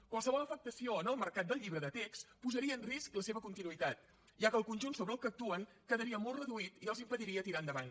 qualsevol afectació en el mercat del llibre de text posaria en risc la seva continuïtat ja que el conjunt sobre el qual actuen quedaria molt reduït i els impediria tirar endavant